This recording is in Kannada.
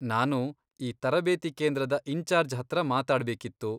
ನಾನು ಈ ತರಬೇತಿ ಕೇಂದ್ರದ ಇನ್ಚಾರ್ಜ್ ಹತ್ರ ಮಾತಾಡ್ಬೇಕಿತ್ತು.